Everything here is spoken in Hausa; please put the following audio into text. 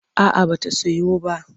A'a ba ta soyu ba.